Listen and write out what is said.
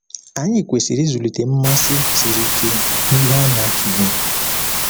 Anyị kwesịrị ịzụlite mmasị siri ike n’ihe a na-atụle.